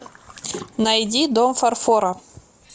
найди дом фарфора